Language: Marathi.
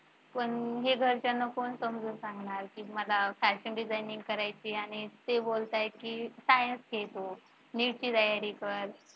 पण हे वचन कोण समजावून सांगणार ती मला fashion designing करायचे आणि ते बोलताय की science घे तू NEET ची तयारी कर.